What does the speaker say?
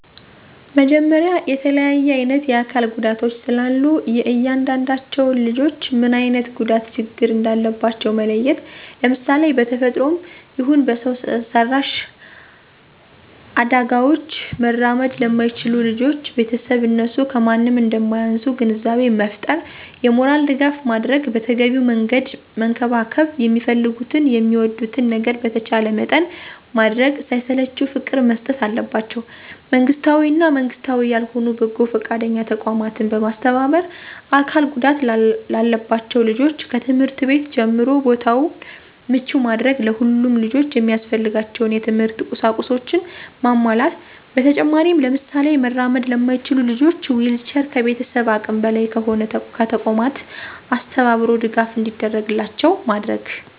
መጀመሪያ የተለያየ አይነት የአካል ጉዳቶች ስላሉ የእያንዳዳቸውን ልጆች ምን አይነት ጉዳት ችግር እንዳለባቸው መለየት፣ ለምሳሌ:- በተፈጥሮም ይሁን በሰው ሰራሽ አዳጋውች መራመድ ለማይችሉ ልጆች ቤተሰብ እነሱ ከማንም እንደማያንሱ ግንዛቤ መፍጠር የሞራል ድጋፍ ማድረግ በተገቢው መንገድ መንከባከብ የሚፈልጉትን የሚወዱትን ነገር በተቻለ መጠን ማድረግ ሳይሰለቹ ፍቅር መስጠት አለባቸው። መንግስታዊ እና መንግስታዊ ያልሆኑ በጎ ፈቃደኛ ተቋማትን በማስተባበር አካል ጉዳት ላለባቸው ልጆች ከትምህርት ቤት ጀምሮ ቦታውን ምቹ ማድረግ ለሁሉም ልጆች የሚያስፈልጋቸውን የት/ት ቁሳቁሶችን ማሟላት። በተጨማሪም ለምሳሌ መራመድ ለማይችሉ ልጆች ዊልቸር ከቤተሰብ አቅም በላይ ከሆነ ከተቋማት አስተባብሮ ድጋፍ እንዲደረግላቸው ማድረግ።